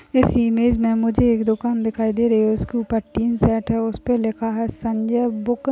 इस इमेज में मुझे एक दुकान दिखाई दे रही हैउसके ऊपर एक टीन सेट है उस पर लिखा है संजय बुक --